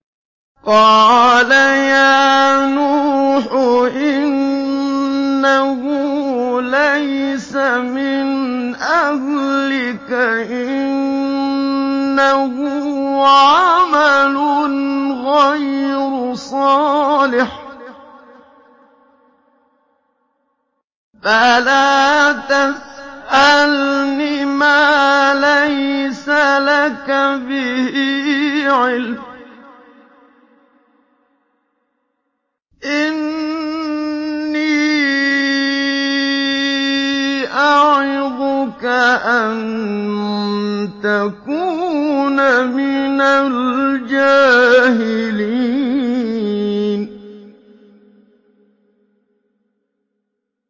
قَالَ يَا نُوحُ إِنَّهُ لَيْسَ مِنْ أَهْلِكَ ۖ إِنَّهُ عَمَلٌ غَيْرُ صَالِحٍ ۖ فَلَا تَسْأَلْنِ مَا لَيْسَ لَكَ بِهِ عِلْمٌ ۖ إِنِّي أَعِظُكَ أَن تَكُونَ مِنَ الْجَاهِلِينَ